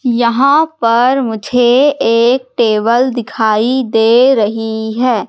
यहां पर मुझे एक टेबल दिखाई दे रही है।